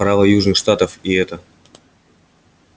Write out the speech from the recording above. права южных штатов и это